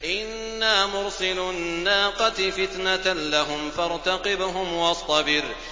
إِنَّا مُرْسِلُو النَّاقَةِ فِتْنَةً لَّهُمْ فَارْتَقِبْهُمْ وَاصْطَبِرْ